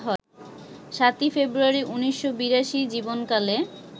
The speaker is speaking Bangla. ৭ই ফেব্রুয়ারি, ১৯৮২ জীবনকালে